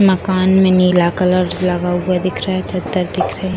मकान में नीला कलर लगा हुआ दिख रहा है चद्दर दिख रहे हैं।